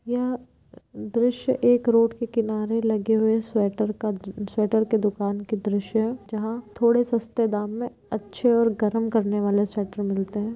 यह दृश्य एक रोड के किनारे लगे हुए स्वेटर का स्वेटर की दुकान का दृश्य है जहाँ थोड़े सस्ते दाम में अच्छे और गर्म करने वाले स्वेटर मिलते हैं।